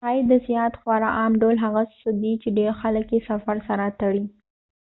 شاید د سیاحت خورا عام ډول هغه څه دی چې ډیر خلک یې د سفر سره تړي